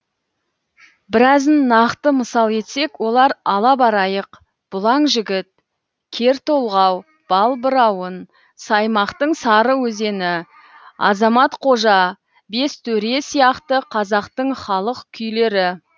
біразын нақты мысал етсек олар ала байрақ бұлаң жігіт кертолғау балбырауын саймақтың сары өзені азамат қожа бес төре сияқты қазақтың халық күйлері